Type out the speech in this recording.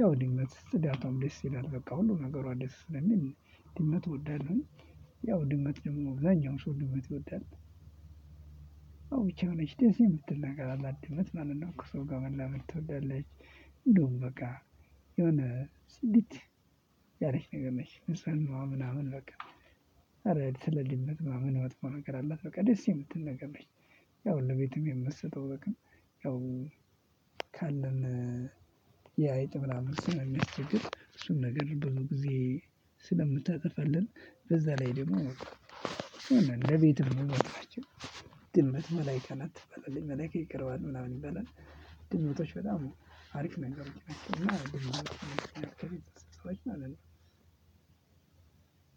ያው ድንነት ፅዳቷም ደስ ይላል በቃ ሁሉ ነገሯ ደስ ስለሚል ድመት እወዳለሁኝ። ያው ድመት ደግሞ አብዛኛው ሰው ድመት ይወዳል። ያው ብቻ የሆነች ደስ የምትል ነገር አላት ድመት ማለት ነው ከሰው ጋር መላመድ ትወዳለች። እንደውም በቃ። ጽድት ያለች ነገር ነች ንጽህናዋ ምናምን። ማለት ነው ደስ የምትል። ያው ለቤትም የምትሰጠው ጥቅም። የአይጥ ምናምን እሱን ነገር ብዙ ጊዜ ስለምታጠፋልን በዛ ላይ ደግሞ ለቤትም ቤት እንደምመጣችሁ። ድመት መላይካ ናት ትባላለች መላይካ ይቀርበዋልል ምናምን ይበላል። ድመቶች በጣም አሪፍ ነገሮች ነች ድመት ማለት ነው።